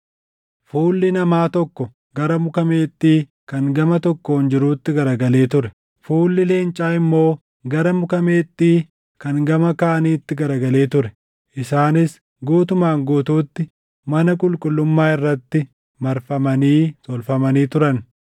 Fuulli namaa tokko gara muka meexxii kan gama tokkoon jirutti garagalee ture; fuulli leencaa immoo gara muka meexxii kan gama kaaniitti garagalee ture. Isaanis guutumaan guutuutti mana qulqullummaa irratti marfamanii tolfamanii turan.